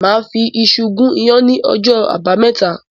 Màá fi iṣu gún iyán ní ọjọ́ Àbámẹ́ta.